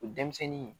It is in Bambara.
O denmisɛnnin